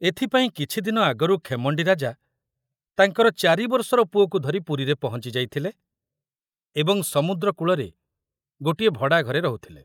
ଏଥୁପାଇଁ କିଛି ଦିନ ଆଗରୁ ଖେମଣ୍ଡି ରାଜା ତାଙ୍କର ଚାରିବର୍ଷର ପୁଅକୁ ଧରି ପୁରୀରେ ପହଞ୍ଚି ଯାଇଥିଲେ ଏବଂ ସମୁଦ୍ରକୂଳରେ ଗୋଟିଏ ଭଡ଼ା ଘରେ ରହୁଥିଲେ।